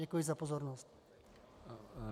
Děkuji za pozornost.